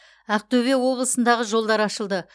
ақтөбе облысындағы жолдар ашылды